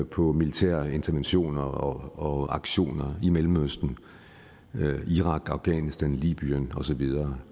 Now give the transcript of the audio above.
på militære interventioner og aktioner i mellemøsten iran afghanistan libyen og så videre